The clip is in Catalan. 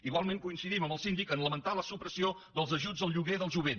igualment coincidim amb el síndic en el fet de lamentar la supressió dels ajuts al lloguer del jovent